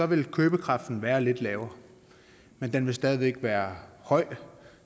vil købekraften være lidt lavere men den vil stadig væk være høj